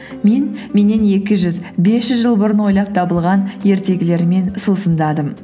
мен меннен екі жүз бес жүз жыл бұрын ойлап табылған ертегілермен сусындадым